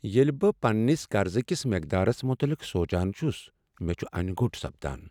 ییٚلہ بہٕ پننس قرضکس مقدارس متعلق سوچان چھس، مےٚ چھےٚ انیہ گوٚٹ باسان۔